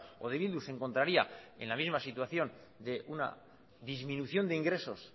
o de bildu se encontraría en la misma situación de una disminución de ingresos